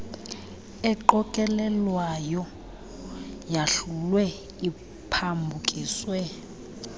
eqokelelwayo yahlulwe iphambukiswe